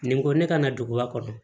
Nin ko ne kana duguba kɔnɔ